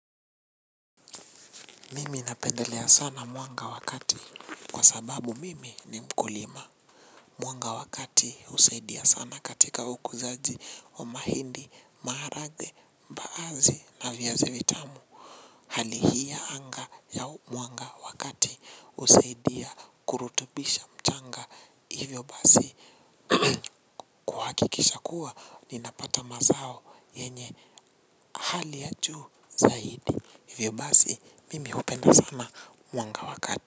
Mimi napendelea sana mwanga wakati kwa sababu mimi ni mkulima. Mwanga wakati usaidia sana katika ukuzaji wa mahindi, maharage, mbaazi na viazi vitamu. Hali hii ya anga ya mwanga wakati husaidia kurutubisha mchanga. Hivyo basi kuhakikisha kuwa ninapata mazao yenye hali ya juu zaidi. Hivyo basi mimi upenda sana mwanga wakati.